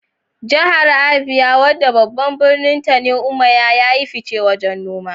Jihar Abia, wadda babban birninta ne Umuahia, ya yi fice wajen noma.